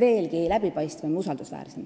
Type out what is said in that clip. veelgi läbipaistvam ja usaldusväärsem.